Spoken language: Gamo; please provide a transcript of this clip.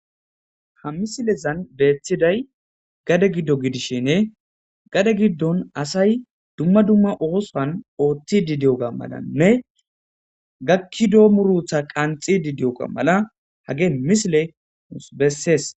Ha misilezan beettiday gade giddo gidishenne gade giddon asay dumma dumma oosan ooththidi diyoga malanne gakki doo murutha qanxidi diyoga mala hage misile nussu bessees.